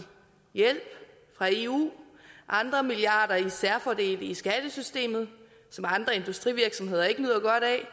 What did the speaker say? hjælp fra eu og andre milliarder som særfordele i skattesystemet som andre industrivirksomheder ikke nyder godt af